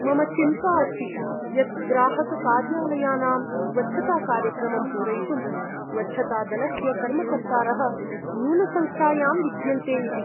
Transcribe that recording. मम चिन्ता अस्ति यत् ग्राहककार्यालयानाम् स्वच्छताकार्यक्रमं पूरयितुं स्वच्छतादलस्य कर्मकर्तारः न्यूनसंख्यायां विद्यन्ते इति।